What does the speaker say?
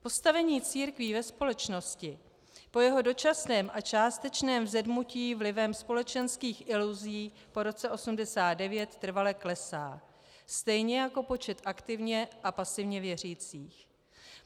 Postavení církví ve společnosti po jeho dočasném a částečném vzedmutí vlivem společenských iluzí po roce 1989 trvale klesá, stejně jako počet aktivně a pasivně věřících.